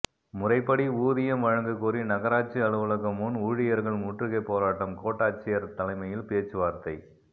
முறைப்படி ஊதியம் வழங்கக் கோரி நகராட்சி அலுவலகம் முன் ஊழியர்கள் முற்றுகை போராட்டம் கோட்டாட்சியர் தலைமையில் பேச்சுவார்த்தை